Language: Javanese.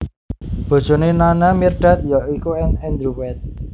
Bojoné Nana Mirdad ya iku Andrew White